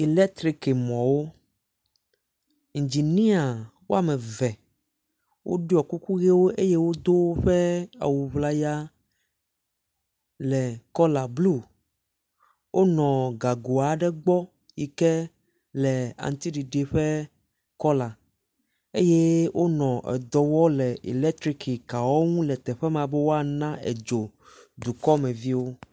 Eletrikimɔwo, engineer wome eve woɖɔ kuku eye wodo woƒe awu ŋlaya le kɔla blu wonɔ gago aɖe gbɔ yi ke le aŋutiɖiɖi ƒe kɔla eye wonɔ dɔm le eletrikikawo ŋu le teƒe me be woana dzo dukɔmeviwo.